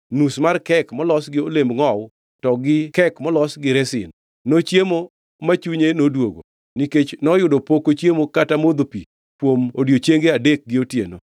nus mar kek molos gi olemb ngʼowu to gi kek molos gi resin. Nochiemo ma chunye noduogo nikech noyudo pok ochiemo kata modho pi kuom odiechienge adek gi otieno bende.